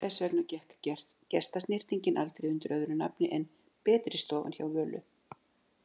Þess vegna gekk gestasnyrtingin aldrei undir öðru nafni en betristofan, hjá Völu.